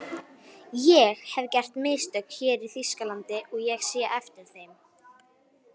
ÉG hef gert mistök hér í Þýskalandi og sé eftir þeim.